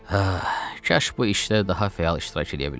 Kaş bu işdə daha fəal iştirak eləyə biləy.